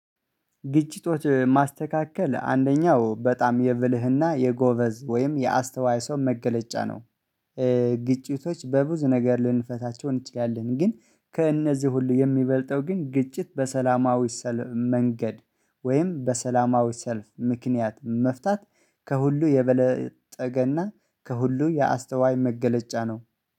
ግጭቶች ማስተካከል አንደኛው በጣም የብልህና የጎበዝ ወይም የአስተዋይ ሰው መገለጫ ነው። ግጭቶች በብዙ ነገር ልንፈታቸው እንችላለን። ግን ከእነዚህ ሁሉ የሚበልጠው ግን ግጭት በሰላማዊ ሰልፍ መንገድ ወይም በሰላማዊ ሰልፍ ምክንያት መፍታት። ከሁሉ የበለጠገና ከሁሉ የአስተዋይ መገለጫ ነው